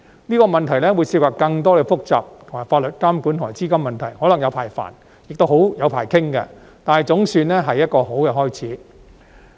這個問題會涉及更多複雜的法律監管和資金問題，可能"有排煩"並"有排傾"，但總算是一個好開始。